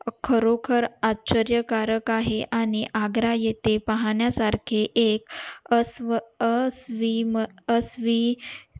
खरोखर आश्चर्यकारक आहे आणि आग्रा येथे पोहण्या सारखे एक अस्वी अ स्वी अस्वी